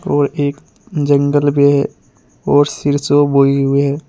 और एक जंगल भी है और सिरसो बोई हुई है।